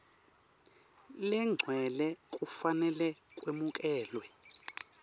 legcwele kufanele kwemukelwe